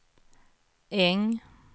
Äng